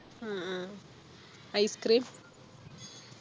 ഉം ഉം Ice cream